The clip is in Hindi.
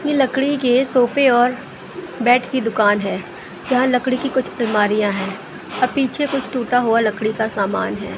ये लकड़ी के सोफे और बेड की दुकान है यहां लकड़ी की कुछ अलमारियां है और पीछे कुछ टूटा हुआ लकड़ी का सामान है।